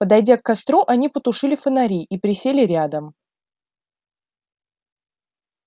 подойдя к костру они потушили фонари и присели рядом